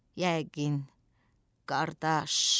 Yəqin, qardaş.